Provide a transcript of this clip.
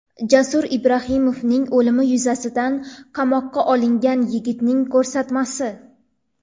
Jasurbek Ibrohimovning o‘limi yuzasidan qamoqqa olingan yigitning ko‘rsatmasi.